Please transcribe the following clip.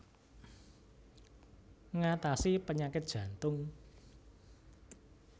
Ngatasi penyakit jantung